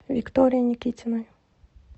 виктории никитиной